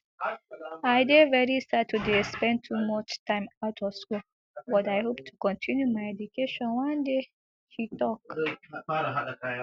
i dey very sad to dey spend too much time out of school but i hope to continue my education one day she tok